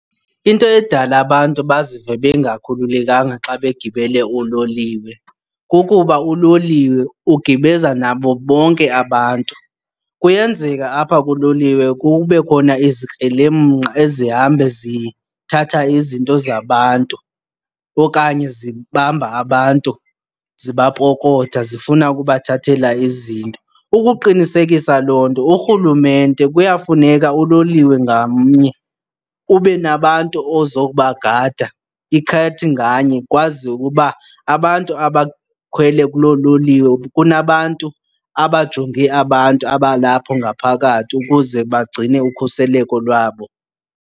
Into edala abantu bazive bengakhululekanga xa begibele uloliwe kukuba uloliwe ugibeza nabo bonke abantu. Kuyenzeka apha kuloliwe kube khona izikrelemnqa ezihambe zithatha izinto zabantu okanye zibamba abantu zibapokotha zifuna ukubathathela izinto. Ukuqinisekisa loo nto uRhulumente kuyafuneka uloliwe ngamnye ube nabantu ozobagada ikhathi nganye, kwaziwe ukuba abantu abakhwele kuloo loliwe kunabantu abajonge abantu abalapho ngaphakathi ukuze bagcine ukhuseleko lwabo.